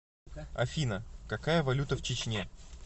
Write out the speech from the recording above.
афина какая валюта в чечне